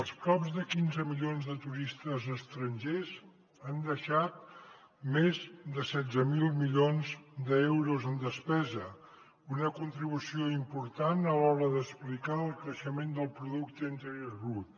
els prop de quinze milions de turistes estrangers han deixat més de setze mil milions d’euros en despesa una contribució important a l’hora d’explicar el creixement del producte interior brut